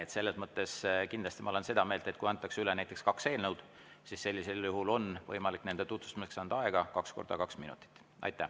Aga selles mõttes ma kindlasti olen seda meelt, et kui antakse üle näiteks kaks eelnõu, siis sellisel juhul on võimalik nende tutvustamiseks anda aega kaks korda kaks minutit.